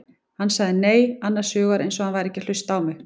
Hann sagði nei, annars hugar eins og hann væri ekki að hlusta á mig.